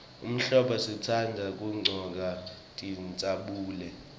ehlombo sitandza kuggcoka tincabule